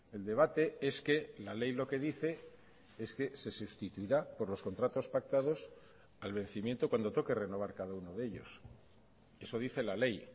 el debate es que la ley lo que dice es que se sustituirá por los contratos pactados al vencimiento cuando toque renovar cada uno de ellos eso dice la ley